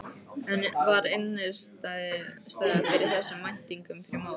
En var innistæða fyrir þessum væntingum fyrir mót?